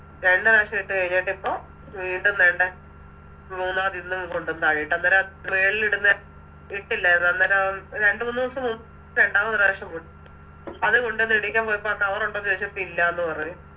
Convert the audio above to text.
രണ്ട് പ്രാവശ്യം ഇട്ട് കഴിഞ്ഞിട്ടിപ്പം വീണ്ടും ദേണ്ടെ മൂന്നാമതിന്നും കൊണ്ടോന്ന് താഴയിട്ടു അന്നേര മേളിലിടുന്നെ ഇട്ടില്ലന്നു അന്നേരം രണ്ടുമൂന്നുസം രണ്ടാമതൊര് പ്രാവശ്യം അത് കൊണ്ടോന്ന് ഇടിക്കാൻ പോയപ്പോ ആ Cover ഒണ്ടോന്ന് ചോയിച്ചപ്പോ ഇല്ലാന്ന് പറഞ്ഞ്